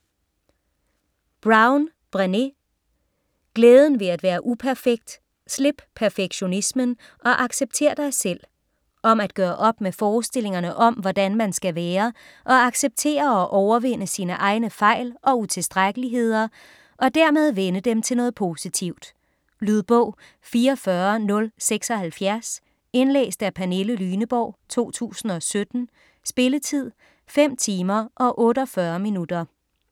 Brown, Brené: Glæden ved at være uperfekt: slip perfektionismen, og accepter dig selv Om at gøre op med forestillingerne om hvordan man skal være, og acceptere og overvinde sine egne fejl og utilstrækkeligheder, og dermed vende dem til noget positivt. Lydbog 44076 Indlæst af Pernille Lyneborg, 2017. Spilletid: 5 timer, 48 minutter.